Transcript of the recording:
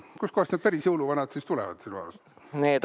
Kust kohast need päris jõuluvanad siis tulevad sinu arust?